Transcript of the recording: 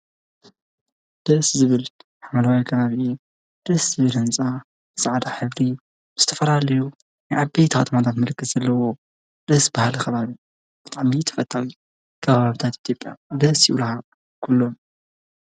ደስ ዝብል ሓምለዋይ ከባቢ ደስ ዝብል ህንፃ ፃዕዳ ሕብሪ ዝተፈላለዩ ናይ ዓበይቲ አፅዋታት ምልክት ዘለዎ ደስ በሃሊ ከባቢ ብጣዕሚ ተፈታዊ ከባብታት ኢትዮጵያ ደስ ይብሉካ ኩሎም።